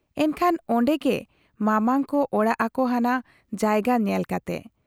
ᱮᱱᱠᱷᱟᱱ ᱚᱱᱰᱮ ᱜᱮ ᱢᱟᱢᱟᱝ ᱠᱚ ᱚᱲᱟᱜ ᱟᱠᱚ ᱦᱟᱱᱟ ᱡᱟᱭᱜᱟ ᱧᱮᱞ ᱠᱟᱛᱮ ᱾